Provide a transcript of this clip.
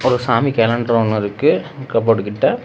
ஒரு சாமி கேலண்டர் ஒன்னு இருக்கு கபோர்டு கிட்ட.